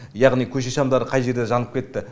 яғни көше шамдары қай жерде жанып кетті